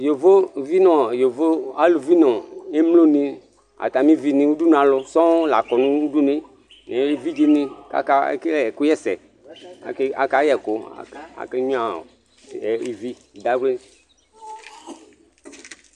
ƴövóvi ɲụ yọvo ɑlụviɲɔ ɛmloɲi ɑtɑmiuviɲi ωɗũɲụɑlu sɔoo lɑkɔɲụɗụɲuɛ ɛvidzɛɲi ɑkékɛlé ẽkụyɛsẽ ɑkɑyɛkuv ɑkɛṅyụɑ iviɗɑvli